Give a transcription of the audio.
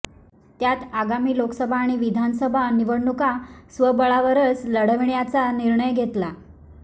त्यात आगामी लोकसभा आणि विधानसभा निवडणूका स्वबळावरच लढविण्याचा निर्णय घेतला